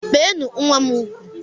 Beenu nwa m ugwu!